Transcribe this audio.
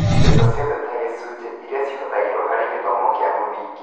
Mbeca ciothe ta gĩcunjĩ iria cihũthĩragwo harĩ gĩthomo kĩa mũthingi